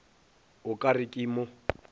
o ka re ke mo